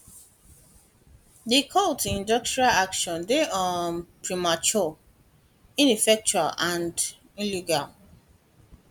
di call to industrial action dey um premature ineffectual and and illegal